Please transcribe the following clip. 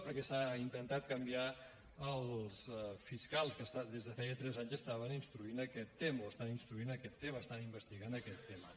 perquè s’ha intentat canviar els fiscals que des de feia tres anys estaven instruint aquest tema o estan instruint aquest tema estan investigant aquest tema